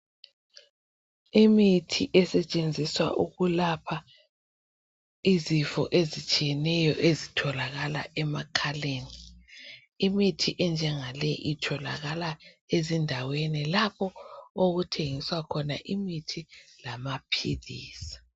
Imithi esetshenziswa ukulapha izifo ezitshiyeneyo ezitholakala emakhaleni, imithi enjangaleyi itholakala ezindaweni lapho okuthengiswa khona imithi lamaphilisi